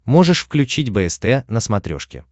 можешь включить бст на смотрешке